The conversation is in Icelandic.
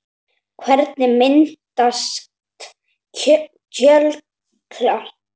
Hvernig myndast jöklar?